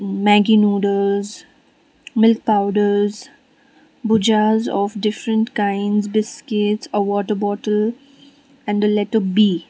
maggi noodles milk powders bhujias of different kinds biscuits a water bottle and a letter b.